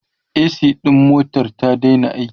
a.c ɗin motar ta Daina aiki